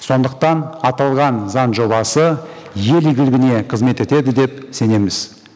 сондықтан аталған заң жобасы ел игілігіне қызмет етеді деп сенеміз